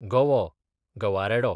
गवो, गवारेडो